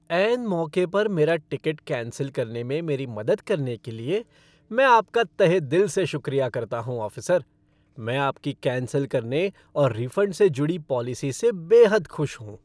ऐन मौके पर मेरा टिकट कैंसिल करने में मेरी मदद करने के लिए, मैं आपका तहेदिल से शुक्रिया करता हूँ, ऑफ़िसर, मैं आपकी कैंसिल करने और रिफ़ंड से जुड़ी पॉलिसी से बेहद खुश हूँ।